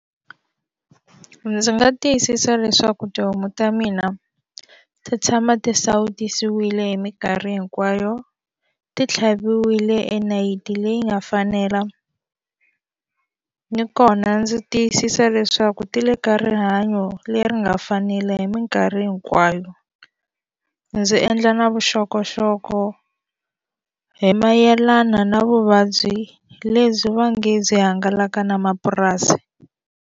Ndzi nga tiyisisa leswaku tihomu ta mina ti tshama ti sautisiwile hi minkarhi hinkwayo ti tlhaviwile enayiti leyi nga fanela ni kona ndzi tiyisisa leswaku ti le ka rihanyo leri nga fanela hi mikarhi hinkwayo ndzi endla na vuxokoxoko hi mayelana na vuvabyi lebyi va nge byi hangalaka na mapurasi.